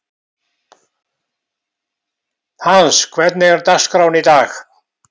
Hans, hvernig er dagskráin í dag?